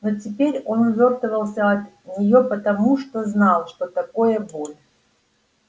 но теперь он увёртывался от неё потому что знал что такое боль